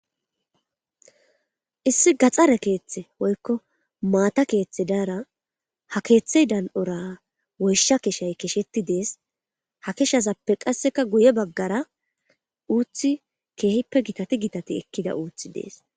Issi gaxxare keeththe woykko maata keeththe daara ha keeththey dan7ora woysha keshay kesheti dees ha keshazappe qasseka guye baggara uuthi keehippe gitati gitati ekkida uuthi dees.